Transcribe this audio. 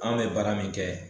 Anw be baara min kɛ